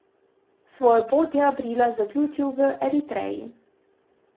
Svojo pot je aprila zaključil v Eritreji.